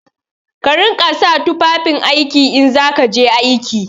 Ka riƙa sa tufafin aiki in za ka je aiki!